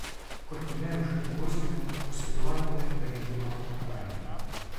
Kot v primeru škandaloznega posvetovalnega referenduma o pokrajinah.